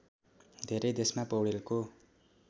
धेरै देशमा पौडेलको